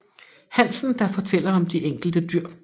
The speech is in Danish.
Hansen der fortæller om de enkelte dyr